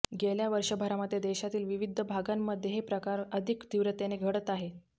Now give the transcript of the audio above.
गेल्या वर्षभरामध्ये देशातील विविध भागांमध्ये हे प्रकार अधिक तीव्रतेने घडत आहेत